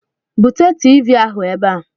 Bute Tiivii ahụ ebe a!